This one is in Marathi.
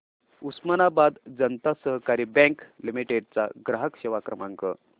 उस्मानाबाद जनता सहकारी बँक लिमिटेड चा ग्राहक सेवा क्रमांक